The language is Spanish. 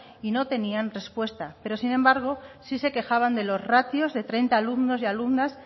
y no tenían respuesta pero sin embargo si se quejaban de los ratios de treinta alumnos y alumnas